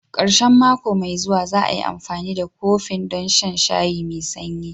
Ƙarshen mako mai zuwa, za'ai amfani da kofin don shan shayi me sanyi.